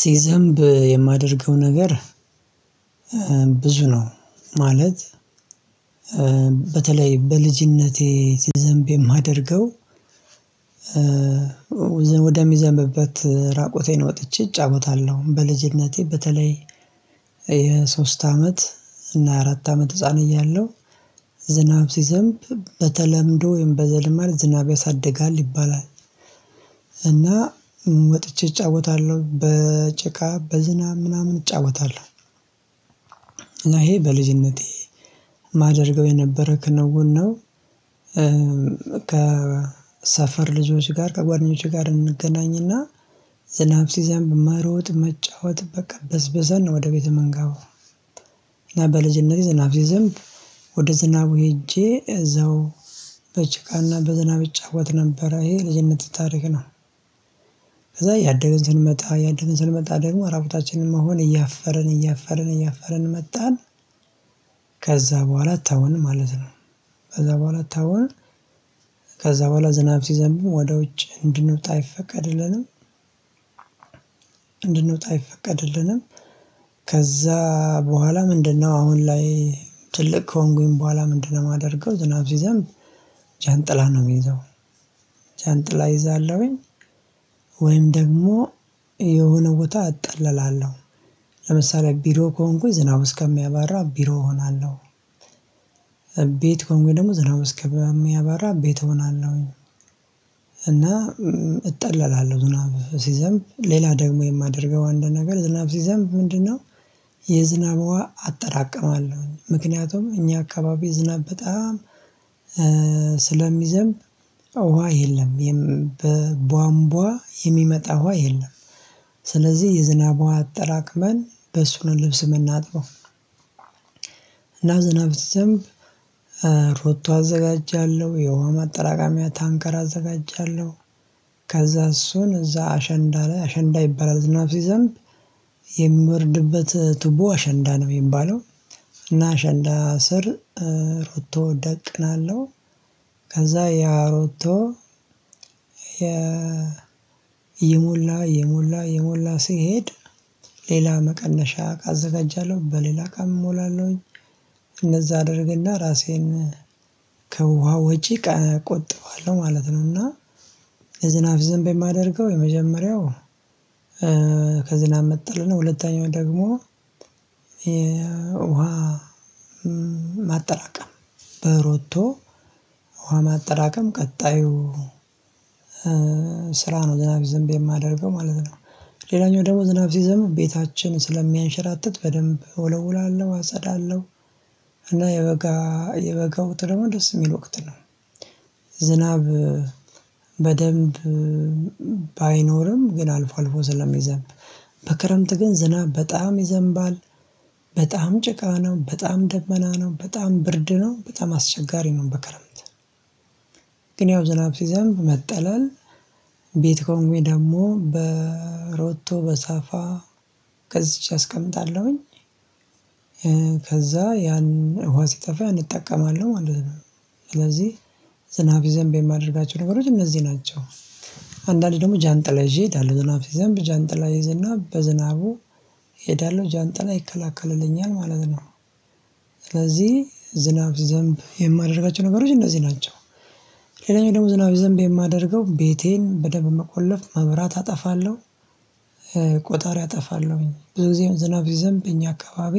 ሲዘንብ የማደርገው ነገር ብዙ ነው። ማለት በተለይ በልጅነቴ ሲዘንብ የማደርገው ወደሚዘንብበት ራቆቴን ወጥቼ እጫውታለሁ። በልጅነቴ በተለይ የሶስት አመት እና አራት አመት ህፃን እያለሁ ዝናብ ሲዘንብ በተለምዶ ወይም በዘልማድ ዝናብ ያሳድጋል ይባላል። እና ወጥቼ እጫወታለሁ። በጭቃ በዝናብ ምናምን እጫወታለሁ። እና ይሄ በልጅነቴ የማደርገው የነበረ ክንውን ነው። ከሰፈር ልጆች ጋር ከጓደኞቼ ጋር እንገናኝና ዝናብ ሲዘንብ መሮጥ መጫወት በቃ በስበሰን ነው ወደ ቤት የምንገባው። እና በልጅነቴ ዝናብ ሲዘንብ ወደ ዝናቡ ሄጄ እዛው በጭቃና በዝናብ እጫወት ነበር። ይሄ ልጅነት ታሪክ ነው። ከዛ እያደገን ስንመጣ እያደገን ስንመጣ ደግሞ እራቁታችንን መሆን እያፈርን እያፈርን እያፈረን መጣን። ከዛ በኋላ አታዩንም ማለት ነው። ከዛ በኋላ አታዩንም። ከዛ በኋላ ዝናብ ሲዘንብም ወደ ውጭ እንድንውጣ አይፈቀድልንም። እንድንወጣ አይፈቀድልንም። ከዛ በኋላ ምንድነው አሁን ላይ ትልቅ ከሆንኩኝ በኋላ ምንድነው የማደርገው ዝናብ ሲዘንብ ጃንጥላ ነው የሚይዘው። ጃንጥላ እይዛለሁኝ፤ ወይም ደግሞ የሆነ ቦታ እጠላለሁ። ለምሳሌ ቢሮ ከሆንኩኝ ዝናብ እስከሚያባራ ቢሮ እሆናለሁ። ቤት ከሆንኩኝ ደግሞ ዝናብ እስከሚያባራ ቤት እሆናለሁኝ። እና እጠላለሁ ዝናብ ሲዘንብ። ሌላ ደግሞ የማደርገው አንድ ነገር ዝናብ ሲዘንብ ምንድነው የዝናብ ውሃ አጠራቀማለሁ። ምክንያቱም እኛ አካባቢ ዝናብ በጣም ስለሚዘንብ ውሃ የለም። በቧንቧ የሚመጣ ውሃ የለም። ስለዚህ የዝናብ ውሃ አጠራቅመን በሱ ነው ልብስ የምናጥበው። እና ዝናብ ሲዘንብ ሮቶ አዘጋጃለሁ፤ የውሃ ማጠራቀሚያ ታንከር አዘጋጃለሁ። ከዛ እሱን እዛ አሸንዳ ላይ አሸንዳ ይባላል ዝናብ ሲዘንብ የሚወርድበት ቱቦ አሸንዳ ነው የሚባለው። እና አሸንዳ ስር ሮቶ ደቅናለሁ። ከዛ ያሮቶ እየሞላ እየሞላ እየሞላ ሲሄድ ሌላ መቀነሻ አዘጋጃለሁ። በሌላ እቃም እሞላለሁኝ። እንደዛ አድርግና ራሴን ከውሃ ወጪ ቆጥባለሁ ማለት ነው። እና የዝናብ ሲዘንብ የማደርገው የመጀመሪያው ከዝናብ መጠለልና ሁለተኛው ደግሞ የውሃ ማጠራቀም በሮቶ ውሃ ማጠራቀም ቀጣዩ ስራ ነው ዝናብ ሲዘንብ የማደርገው ማለት ነው። ሌላኛው ደግሞ ዝናብ ሲዘንብ ቤታችን ስለሚያንሸራትት በደንብ እወለውላለሁ፤ አጸዳለሁ። እና የበጋ የበጋ ወቅት ደግሞ ደስ የሚል ወቅት ነው። ዝናብ በደንብ ባይኖርም ግን አልፎ አልፎ ስለዘንብ በክረምት ግን ዝናብ በጣም ይዘንባል። በጣም ጭቃ ነው፤ በጣም ደመና ነው፤ በጣም ብርድ ነው፤ በጣም አስቸጋሪ ነው በከረምት። ግን ያው ዝናብ ሲዘንብ መጠለል ቤት ከሆንኩኝ ደግሞ በሮቶ በሳፋ ገዝቼ አስቀምጣለሁኝ። ከዛ ያን ውሃ ሲጠፋ እንጠቀማለን ማለት ነው። ስለዚህ ዝናብ ሲዘንብ የማደርጋቸው ነገሮች እነዚህ ናቸው። አንዳንድ ደግሞ ጃንጥላ ይዤ እሄዳለሁ። ዝናብ ዘንብ ጃንጥላ እይዝና በዝናቡ እሄዳለሁ። ጃንጥላ ይከላከልልኛል ማለት ነው። ስለዚህ ዝናብ ሲዘንብ የማደርጋቸው ነገሮች እነዚህ ናቸው። ሌላኛው ደግሞ ዝናብ ሲዘንብ የማደርገው ቤቴን በደንብ መቆለፍ መብራት አጠፋለሁ ቆጣሪ አጠፋለሁኝ። ብዙ ጊዜ ዝናብ ስዘንብ በእኛ አካባቢ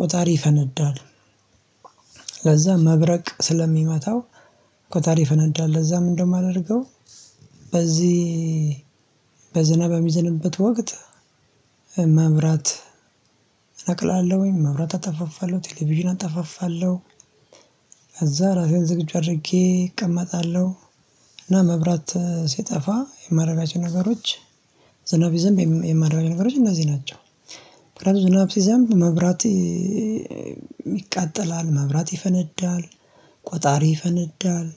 ቆጣሪ ይፈነዳል። ለዛ መብረቅ ስለሚመታው ቅጣሪ ይፈነዳል። ለዛ ምንድነው የማደርገው በዚህ በዝናብ በሚዘንበት ወቅት መብራት እነቅላለሁኝ፣ መብራት አጠፋፋለሁ፣ ቴሌቪዥን አጠፋፋለሁ፣ ከዛ ራሴን ዝግጁ አድርጌ እቀመጣለሁ። እና መብራት ሲጠፋ የማደርጋቸው ነገሮች ዝናብ ሲዘንብ የማደርጋቸው ነገሮች እነዚህ ናቸው። ዝናብ ሲዘንብ መብራት ይቃጠላል፣ መብራት ይፈነዳል፣ ቆጣሪ ይፈነዳል።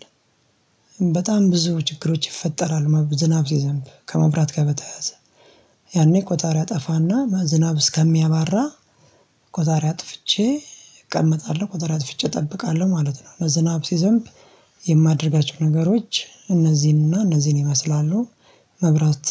በጣም ብዙ ችግሮች ይፈጠራል ዝናብ ሲዘንብ ከመብራት ጋር በተያያዘ ያኔ ቆጣሪ አጠፋና ዝናብ እስከሚያባራ ቆጣሪ አጥፍቼ እቀመጣለሁ፤ ቆጣሪ አጥፍቼ እጠብቃለሁ ማለት ነው። ዝናብ ሲዘንብ የማደርጋቸው ነገሮች እነዚህንና እነዚህን ይመስላሉ። መብራት